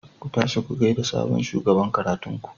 Ku tashi ku gaida sabon shugaban karatun ku.